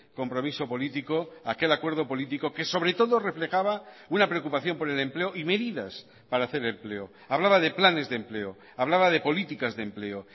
compromiso político aquel acuerdo político que sobre todo reflejaba una preocupación por el empleo y medidas para hacer empleo hablaba de planes de empleo hablaba de políticas de empleo